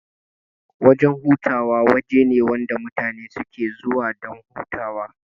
Wajan hutawa wajene wanda mutane suke zuwa dan hutawa